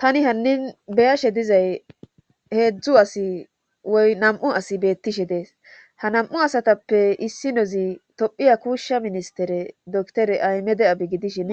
tani hannin beyashe dizay heedzdzu asi woy namu as beettishe dees ha nam7u asatappe issi nozi tophiya kuushsha ministere doktore aymede7ab gidishin